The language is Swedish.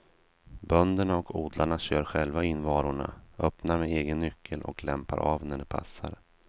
Bönderna och odlarna kör själva in varorna, öppnar med egen nyckel och lämpar av när det passar.